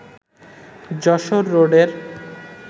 যশোর রোডের